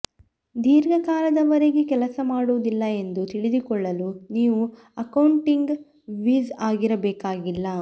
ದೀರ್ಘಕಾಲದವರೆಗೆ ಕೆಲಸ ಮಾಡುವುದಿಲ್ಲ ಎಂದು ತಿಳಿದುಕೊಳ್ಳಲು ನೀವು ಅಕೌಂಟಿಂಗ್ ವಿಝ್ ಆಗಿರಬೇಕಾಗಿಲ್ಲ